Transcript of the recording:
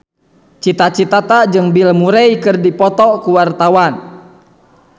Cita Citata jeung Bill Murray keur dipoto ku wartawan